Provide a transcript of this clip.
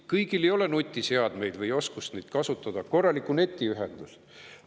Kõigil ei ole nutiseadmeid või oskust neid kasutada, pole ehk ka korralikku netiühendust.